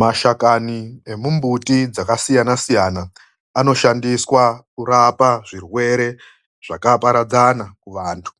Mashakani emimbuti dzakasiyana siyana anoshandiswa kurape zvirwere zvakawanda muvanhu